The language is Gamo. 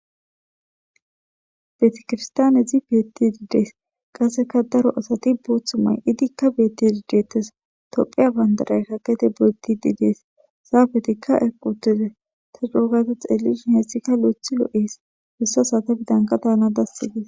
Beetikirstaanezi beetti didees qasseka daro asati booththu may idikka beetti didettes tophiya bandaray kakete beeti didees saabetikka equtize ta coogayta xeellishin heetszikka lo'ethi loo'ees hussa sata bidanka daana dassi dees.